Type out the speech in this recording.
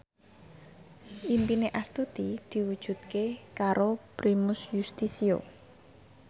impine Astuti diwujudke karo Primus Yustisio